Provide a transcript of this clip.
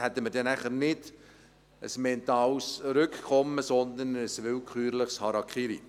Dann hätten wir nicht ein mentales Rückkommen, sondern ein willkürliches Harakiri.